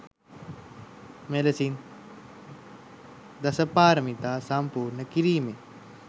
මෙලෙසින් දසපාරමිතා සම්පූර්ණ කිරීමෙන්